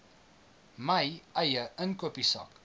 my eie inkopiesak